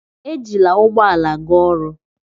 Ejila ụgbọ ala ga oru